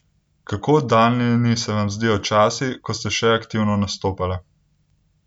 Kako oddaljeni se vam zdijo časi, ko ste še aktivno nastopale?